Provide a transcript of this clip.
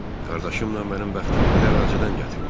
Qardaşımla mənim bəxtim elə əvvəlcədən gətirmədi.